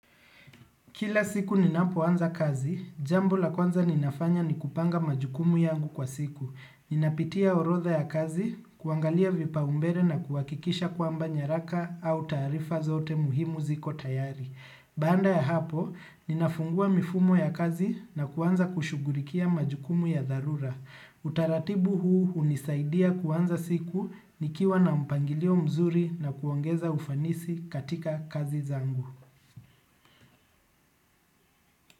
Kila siku ninapo anza kazi, jambo la kwanza ninafanya ni kupanga majukumu yangu kwa siku. Ninapitia orodha ya kazi, kuangalia vipaumbele na kuhakikisha kwamba nyaraka au taarifa zote muhimu ziko tayari. Baada ya hapo, nina fungua mifumo ya kazi na kuanza kushughulikia majukumu ya dharura. Utaratibu huu hunisaidia kuanza siku, nikiwa na mpangilio mzuri na kuongeza ufanisi katika kazi zangu.